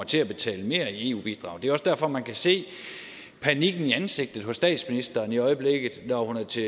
til at betale mere i eu bidrag det er også derfor man kan se panikken i ansigtet hos statsministeren i øjeblikket når hun er til